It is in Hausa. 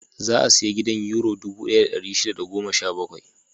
Za a sayi gidan Yuro dubu ɗaya da ɗari shida da goma sha bakwai.